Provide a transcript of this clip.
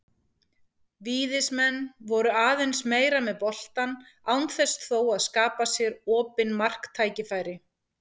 Víðismenn voru aðeins meira með boltann án þess þó að skapa sér opin marktækifæri.